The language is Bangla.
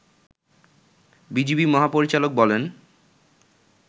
বিজিবি মহাপরিচালক বলেন